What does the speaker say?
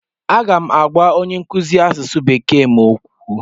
M ga-agwa onye nkụzi asụsụ Bekee m okwu.